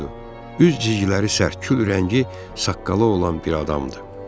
Üz cigləri sərt, kül rəngi saqqalı olan bir adamdır.